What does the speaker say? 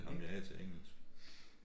Ham jeg havde til engelsk